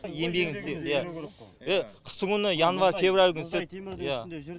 еңбегіміз істедік қыстыгүні январь февраль күні істедік иә